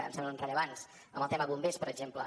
em semblen rellevants en el tema bombers per exemple